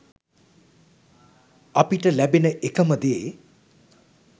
අපිට ලැබෙන එකම දේ